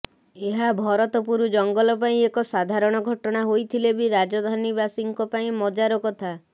ଏହା ଭରତପୁର ଜଙ୍ଗଲ ପାଇଁ ଏକ ସାଧାରଣ ଘଟଣା ହୋଇଥିଲେ ବି ରାଜଧାନୀବାସୀଙ୍କ ପାଇଁ ମଜାର କଥା